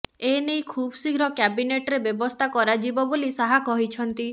ଏନେଇ ଖୁବ ଶୀଘ୍ର କ୍ୟାବିନେଟ୍ରେ ବ୍ୟବସ୍ଥା କରାଯିବ ବୋଲି ଶାହା କହିଛନ୍ତି